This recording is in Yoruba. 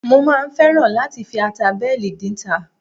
Mo máa ń fẹ́ràn láti fi ata bẹ́ẹ̀lì dínta